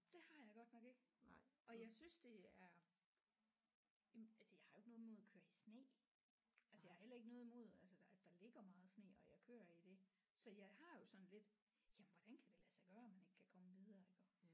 Det har jeg godt nok ikke og jeg synes det er jamen altså jeg har jo ikke noget imod at køre i sne altså jeg har heller ikke noget imod altså der der ligger meget sne og jeg kører i det så jeg har jo sådan lidt jamen hvordan kan det lade sig gøre man ikke kan komme videre iggå